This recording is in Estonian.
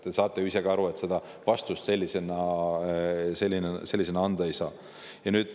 Te saate ju ise ka aru, et seda vastust sellisena anda ei saa.